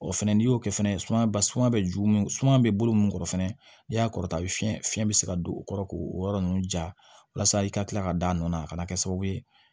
O fɛnɛ n'i y'o kɛ fɛnɛ sumaya ba suma bɛ ju suma bɛ bolo mun kɔrɔ fɛnɛ i y'a kɔrɔta fiyɛ fiɲɛ bɛ se ka don o kɔrɔ k'o yɔrɔ ninnu ja walasa i ka kila ka da a nɔ na a kana kɛ sababu ye